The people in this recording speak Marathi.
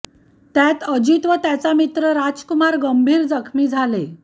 त्यात अजित व त्याचा मित्र राजकुमार गंभीर जखमी झाले